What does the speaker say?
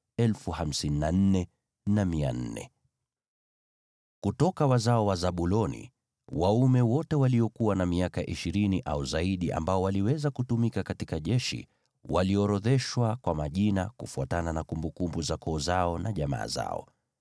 Kutoka wazao wa Zabuloni: Wanaume wote waliokuwa na miaka ishirini au zaidi ambao waliweza kutumika katika jeshi waliorodheshwa kwa majina, kufuatana na kumbukumbu za koo zao na jamaa zao.